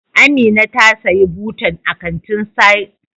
Amina ta siya butan ta a Kantin sayar da kaya na jos.